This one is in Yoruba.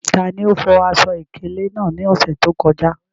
Tani o fo aṣọ-ìkéle naa ni ọsẹ to kọja?